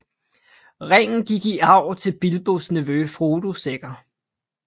Ringen gik i arv til Bilbos nevø Frodo Sækker